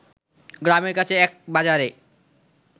গ্রামের কাছে এক বাজারে